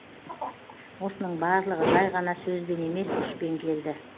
осының барлығы жай ғана сөзбен емес күшпен келді